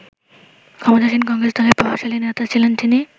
ক্ষমতাসীন কংগ্রেস দলের প্রভাবশালী নেতা ছিলেন তিনি।